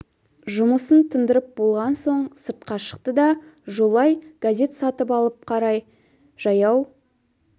жұмысын тындырып болған соң сыртқа шықты да жолай газет сатып алып қарай жаяу